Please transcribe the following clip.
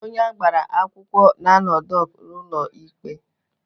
Onye agbara akwụkwọ na-anọ dọk n'ụlọ ikpe.